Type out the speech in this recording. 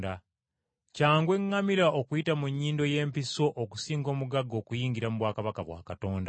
Kyangu eŋŋamira okuyita mu nnyindo y’empiso okusinga omugagga okuyingira mu bwakabaka bwa Katonda.”